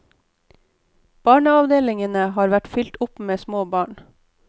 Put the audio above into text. Barneavdelingene har vært fylt opp med små barn.